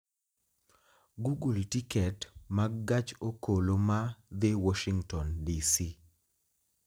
google tiket mag gach okoloma dhi Washington d. c.